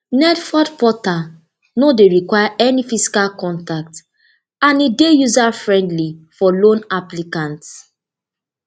nelfund portal no dey require any physical contact and e dey user friendly for loan applicant